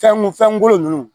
Fɛn mun fɛn golo ninnu